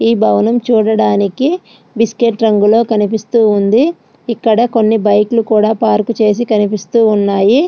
ఈ భవనం చూడడానికి బిస్కెట్ రంగులో కనిపిస్తూ ఉంది ఇక్కడ కొన్ని బైక్ లు కూడా పార్క్ చేసి కనిపిస్తూ ఉన్నాయి.